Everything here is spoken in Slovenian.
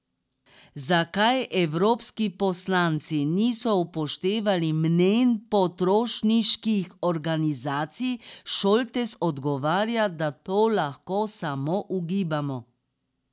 Zakaj evropski poslanci niso upoštevali mnenj potrošniških organizacij, Šoltes odgovarja, da to lahko samo ugibamo.